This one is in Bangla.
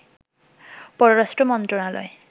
পররাষ্ট্র মন্ত্রনালয়